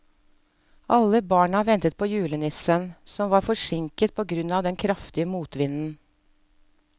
Alle barna ventet på julenissen, som var forsinket på grunn av den kraftige motvinden.